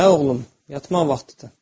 Hə, oğlum, yatmaq vaxtıdır.